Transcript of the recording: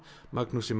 Magnúsi